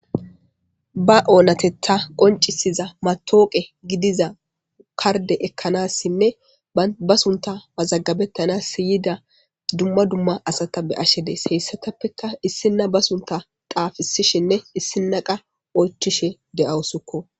ba oonatetta qoncisiza matooqe gidiza karde ekkanassinne ba sunta mazaggabettanas yida dumma dumma asata be'ashe days, heyssatappeka issinna ba sunta xaafisishinne issina qas oychishe de'awusko.